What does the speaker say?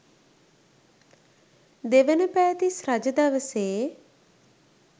දෙවන පෑතිස් රජ දවසේ